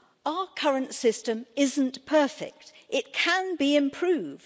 Our current system isn't perfect, it can be improved.